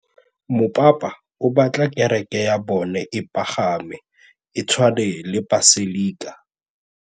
Mopapa o batla kereke ya bone e pagame, e tshwane le paselika.